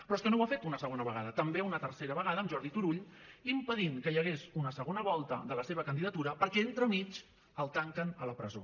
però és que no ho ha fet una segona vegada també una tercera vegada amb jordi turull impedint que hi hagués una segona volta de la seva candidatura perquè entremig el tanquen a la presó